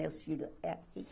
Meus filhos, é aqui.